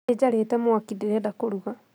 Nĩ njarĩte mwaki, ndĩrenda kũruga